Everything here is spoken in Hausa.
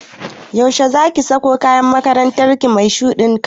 Yaushe zaki sako kayan makarantar ki mai shuɗin kala?